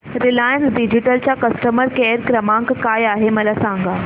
Reliance Digital चा customer care क्रमांक काय आहे मला सांगा